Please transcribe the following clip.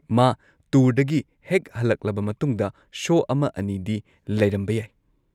ꯃꯥ ꯇꯨꯔꯗꯒꯤ ꯍꯦꯛ ꯍꯜꯂꯛꯂꯕ ꯃꯇꯨꯡꯗ ꯁꯣ ꯑꯃ ꯑꯅꯤꯗꯤ ꯂꯩꯔꯝꯕ ꯌꯥꯏ꯫